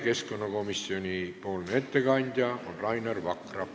Keskkonnakomisjoni ettekandja on Rainer Vakra.